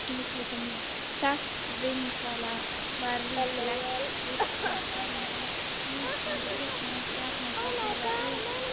Saltvinnslan var líklegast fyrsta dæmi um nýtingu íslensks jarðhita til iðnaðarstarfsemi.